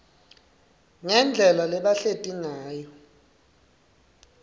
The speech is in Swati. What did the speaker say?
ngendlela labahleti ngayo